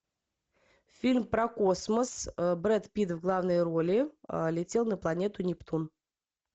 фильм про космос брэд питт в главной роли летел на планету нептун